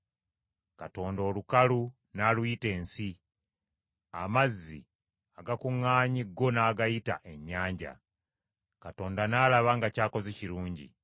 Katonda olukalu n’aluyita ensi, amazzi agakuŋŋaanye go n’agayita ennyanja. Katonda n’alaba nga ky’akoze kirungi.